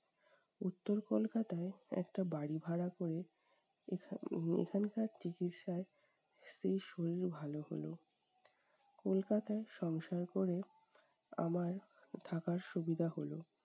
উত্তর কলকাতায় একটা বাড়ি ভাড়া করে এখন উম এখানকার চিকিৎসায় স্ত্রীর শরীর ভালো হলো। কলকাতায় সংসার করে, আমার থাকার সুবিধা হলো।